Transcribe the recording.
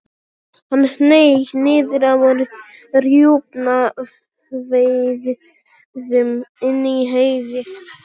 Hann hneig niður á rjúpnaveiðum inni í Heiði.